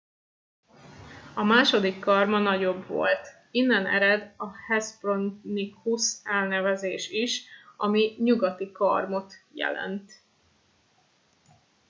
"a második karma nagyobb volt innen ered a hespronychus elnevezés is ami "nyugati karmot" jelent.